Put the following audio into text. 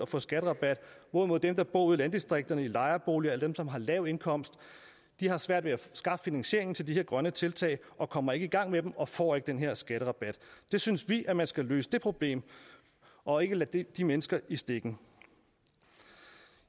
få skatterabat hvorimod dem der bor ude i landdistrikterne i lejeboliger eller dem som har lav indkomst har svært ved at skaffe finansieringen til disse grønne tiltag og kommer ikke i gang med dem og får ikke den her skatterabat vi synes at man skal løse det problem og ikke lade de mennesker i stikken